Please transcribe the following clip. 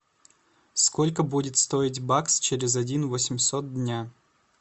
сколько будет стоить бакс через один восемьсот дня